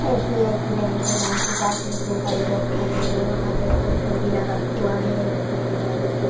SBI की bank है bank के पास में इतने सारे लोग ठहरे हुए हैं वहां पे पोस्टर भी लगा हुआ है यह बैंक --